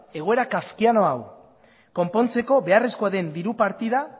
egoera kafkiano hau konpontzeko beharrezkoa den diru partida